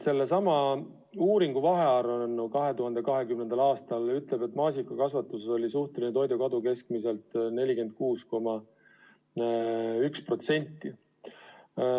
Sellesama uuringu vahearuanne 2020. aastal ütleb, et maasikakasvatuses oli suhteline toidukadu keskmiselt 46,1%.